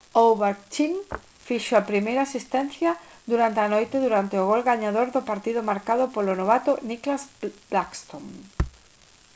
ovechkin fixo a primeira asistencia durante a noite durante o gol gañador do partido marcado polo novato nicklas backstrom